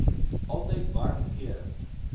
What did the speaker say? altyd warm klere